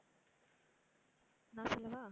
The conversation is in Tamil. நான் சொல்லவா?